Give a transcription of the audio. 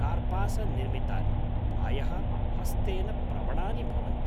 कार्पासनिर्मितानि, प्रायः हस्तेन प्रवणानि भवन्ति।